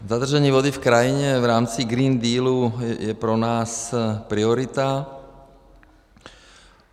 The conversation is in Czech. Zadržení vody v krajině v rámci Green Deal je pro nás priorita.